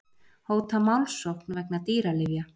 Hóta málssókn vegna dýralyfja